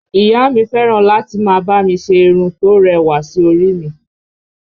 Ìyá a mi fẹ́ràn láti máa bá mi ṣe irun tó rẹwà sí orí i mi